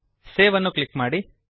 save ಅನ್ನು click ಮಾಡಿ